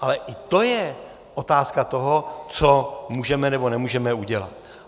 Ale i to je otázka toho, co můžeme nebo nemůžeme udělat.